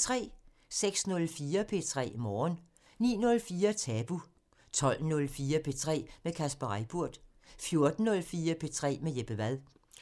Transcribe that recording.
06:04: P3 Morgen 09:04: Tabu 12:04: P3 med Kasper Reippurt 14:04: P3 med Jeppe Wad